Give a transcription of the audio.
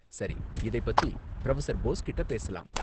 சரி, இதைப் பத்தி புரொஃபசர் போஸ் கிட்ட பேசலாம்.